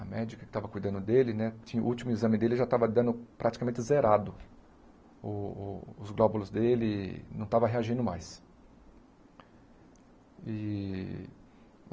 a médica que estava cuidando dele, né, o último exame dele já estava dando praticamente zerado, o o os glóbulos dele não estavam reagindo mais. E